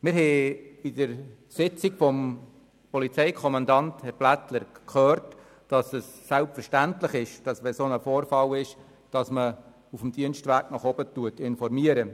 In der Sitzung haben wir von Polizeikommandant Blättler gehört, dass es selbstverständlich ist, bei einem solchen Vorfall auf dem Dienstweg gegen oben zu informieren.